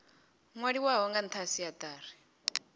nwaliwaho nga ntha kha siatari